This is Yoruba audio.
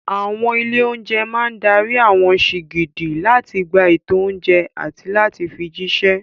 Àwọn ilé-oúnjẹ máa dárí àwọn sìgìdì láti gba ètò oúnjẹ àti láti fi jíṣẹ́.